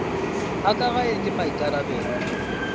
a ka gae ke maikarabelo